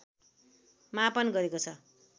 मापन गरेको छ